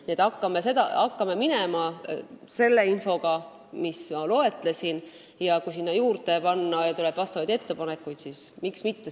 Nii et me alustame sellest, mida ma loetlesin, ja kui tuleb ettepanekuid midagi juurde panna, siis miks mitte.